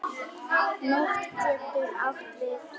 Nótt getur átt við